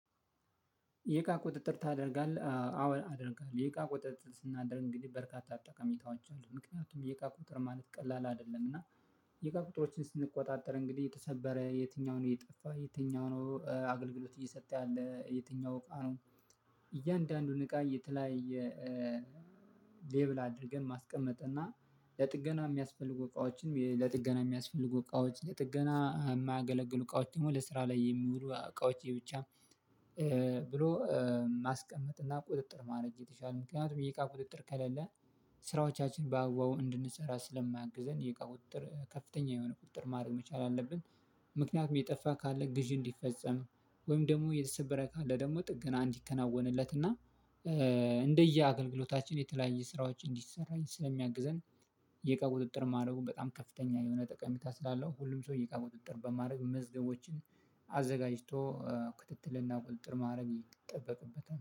የእቃ ቁጥጥር ታደርጋለህ አወር አደርጋለሁ የቃ ቁጥጥር ስናደርግ እንግዲህ በርካታ አጠቃሚታዎች አሉን ምክንያቱም የእቃ ቁጥር ማለት ቀላል አይደለም እና የእቃ ቁጥሮችን ስንቆጣጠር እንግዲህ የተሰበረ የትኛውን የጠፋ የትኛው ነው አገልግሎት እየሰጠ ያለ የትኛው እቃ ነው? እያንዳንዱን እቃ የተለያየ ሌብል አድርገን ማስቀመጥ እና ለጥገና የሚያስፈልጉ እቃዎችንም ለጥገና የሚያስፈልጉ እቃዎች ለጥገና የማያገለግሉ እቃዎች ደግሞ ለስራ ላይ የሚውሉ እቃዎች የብቻ ብሎ ማስቀመጥና ቁጥጥር ማድረግ የተቫለ ነው። ምክንያቱም የእቃ ቁጥጥር ከሌለ ስራዎቻችን በአግባቡ እንድንሰራ ስለማግዘን የቃው ቁጥር ከፍተኛ የሆነ ቁጥር ማድረግ መቻል አለብን። ምክንያቱም የጠፋ ካለ ግዢ እንዲፈጸም ወይም ደግሞ የተሰበረ ካለ ደግሞ ጥገና እንዲከናወንለት እና እንደ የአገልግሎታችን የተለያየ ስራዎች እንዲሰራ ስለሚያግዘን። የእቃ ቁጥጥር ማድረጉን በጣም ከፍተኛ የሆነ ጠቀሚታ ስላለው ሁሉም ሰውዬ የእቃ ቁጥጥር በማድረግ መዝገቦችን አዘጋጅቶ ክትትልና ቁጥጥር ማድረግ ይጠበቅበታል